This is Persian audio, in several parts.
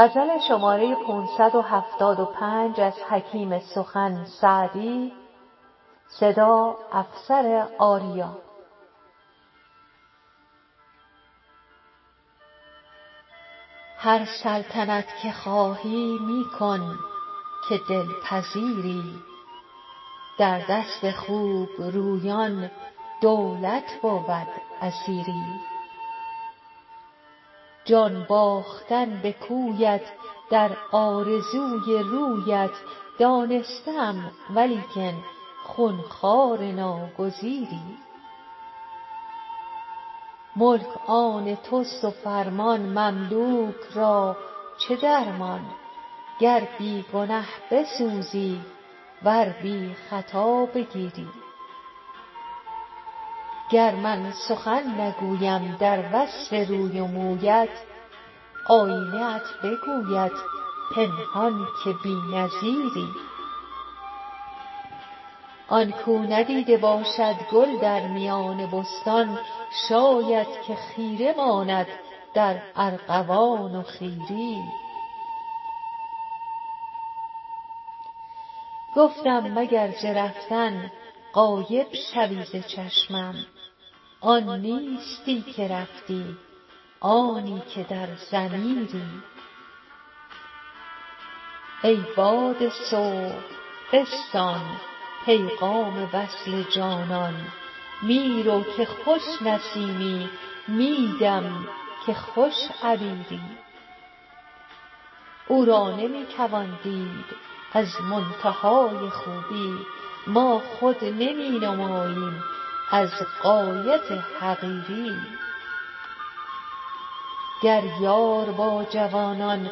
هر سلطنت که خواهی می کن که دل پذیری در دست خوب رویان دولت بود اسیری جان باختن به کویت در آرزوی رویت دانسته ام ولیکن خون خوار ناگزیری ملک آن توست و فرمان مملوک را چه درمان گر بی گنه بسوزی ور بی خطا بگیری گر من سخن نگویم در وصف روی و مویت آیینه ات بگوید پنهان که بی نظیری آن کاو ندیده باشد گل در میان بستان شاید که خیره ماند در ارغوان و خیری گفتم مگر ز رفتن غایب شوی ز چشمم آن نیستی که رفتی آنی که در ضمیری ای باد صبح بستان پیغام وصل جانان می رو که خوش نسیمی می دم که خوش عبیری او را نمی توان دید از منتهای خوبی ما خود نمی نماییم از غایت حقیری گر یار با جوانان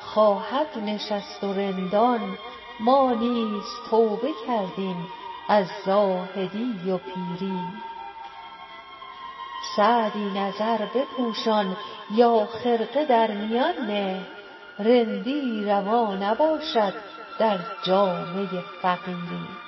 خواهد نشست و رندان ما نیز توبه کردیم از زاهدی و پیری سعدی نظر بپوشان یا خرقه در میان نه رندی روا نباشد در جامه فقیری